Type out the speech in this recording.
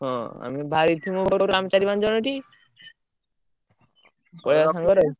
ହଁ ଆମେ ବାହାରିକି ଥିବୁ ଚାରି ପାଞ୍ଚଜଣ ଇଠି, ପଳେଇଆ ସାଙ୍ଗେରେ ଆଉ?